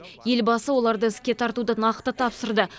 елбасы оларды іске тартуды нақты тапсырды